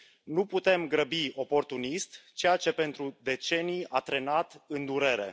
Nu putem grăbi oportunist ceea ce pentru decenii a trenat în durere.